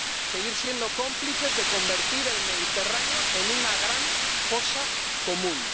seguir siendo cómplices de convertir el Mediterráneo en una gran fosa común.